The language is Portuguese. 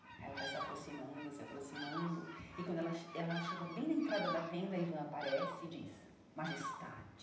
Aí Ela vai se aproximando, se aproximando, e quando ela che ela chega bem na entrada da tenda, Ivan aparece e diz, Majestade,